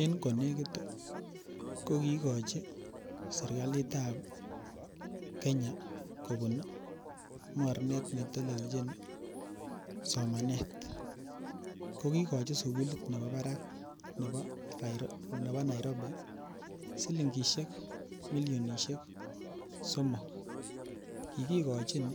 En konekit ii kokikochi serikalitab Kenya kobun mornet ne telelchin ii somanet, ko kikochi sukulit nebo barak nebo Nairobi silingisiek millionisiek somok, kikikochin